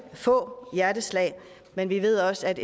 få hjerteslag men vi ved også at